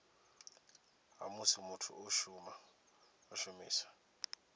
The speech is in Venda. ha musi muthu o shumisa